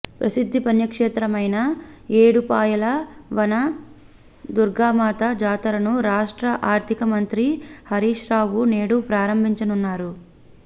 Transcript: ప్రసిద్ధ పుణ్యక్షేత్రమైన ఏడుపాయల వన దుర్గామాత జాతరను రాష్ట్ర ఆర్థిక మంత్రి హరీశ్రావు నేడు ప్రారంభించనున్నారు